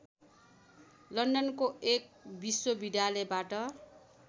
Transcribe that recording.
लन्डनको एक विश्वविद्यालयबाट